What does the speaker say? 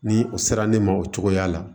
Ni o sera ne ma o cogoya la